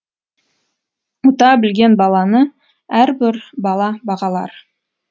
ұта білген баланы әрбір бала бағалар